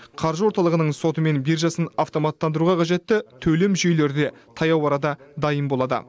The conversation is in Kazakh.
қаржы орталығының соты мен биржасын автоматтандыруға қажетті төлем жүйелері де таяу арада дайын болады